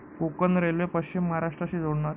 Konkan railway पश्चिम महाराष्ट्राशी जोडणार